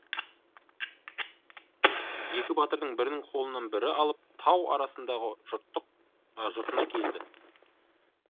екі батыр бірінің қолынан бірі алып тау арасындағы жұртына келді